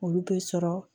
Olu bɛ sɔrɔ